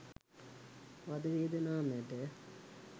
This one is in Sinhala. වධවේදනා මැද